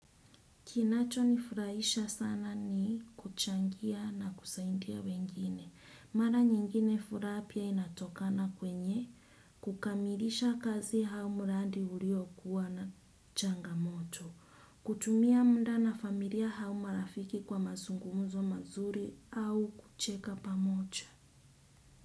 Kinacho nifurahisha sana ni kuchangia na kusaidia wengine. Mara nyingine furaha pia inatokana kwenye kukamilisha kazi hau mradi uliokua na changamoto. Kutumia muda na familia au marafiki kwa mazungumuzo mazuri au kucheka pamoja.